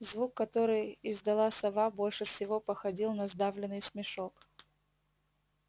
звук который издала сова больше всего походил на сдавленный смешок